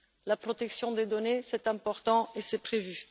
La protection des données, c'est important et c'est prévu.